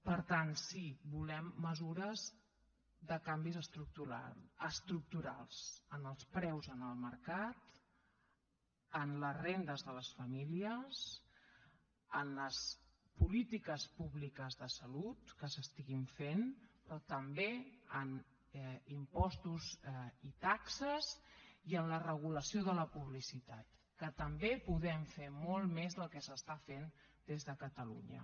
per tant sí volem mesures de canvis estructurals en els preus en el mercat en les rendes de les famílies en les polítiques públiques de salut que s’estiguin fent però també en impostos i taxes i en la regulació de la publicitat que també podem fer molt més del que s’està fent des de catalunya